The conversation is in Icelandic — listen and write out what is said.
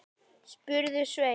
spurði Sveinn.